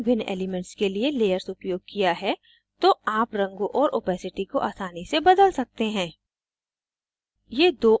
अगर आपने भिन्न elements के लिए layers उपयोग किया है तो आप रंगों और opacity को आसानी से बदल सकते हैं